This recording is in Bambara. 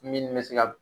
Min bɛ se ka